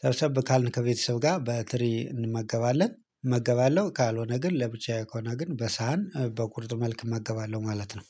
ሰብሰብ ካልን ከቤተሰብ ጋር በትሪ እንመገባለን እመገባለሁ ካልሆነ ግን ለብቻዬ ከሆነ ግን በሳህን በቁርጥ መልክ እመገባለሁ ማለት ነው።